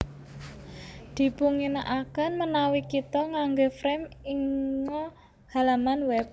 Dipunginaaken menawi kita ngangge frame inga halaman web